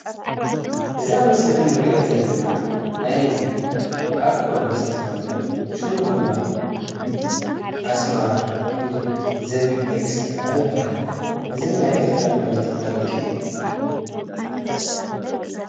እዚ ኣብ ምስሊ እንሪኦ ዘለና ናይ አልኮል መስተ ኮይኑ ሹሙ ድማ አስመራ ወይ ድማ ዚቢብ ኤክስትራ ይበሃል፡፡ እዚ ናይ ኤርትራ ምህርቲ አረቂ እዩ፡፡